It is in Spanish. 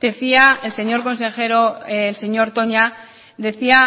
decía el señor consejero el señor toña decía